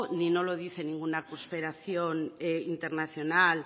ni no lo dice ninguna conspiración internacional